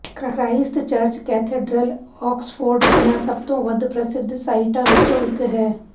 Christchurch cathedral Oxford ਦੀਆਂ ਸਭ ਤੋਂ ਵੱਧ ਪ੍ਰਸਿੱਧ ਸਾਈਟਾਂ ਵਿੱਚੋਂ ਇੱਕ ਹੈ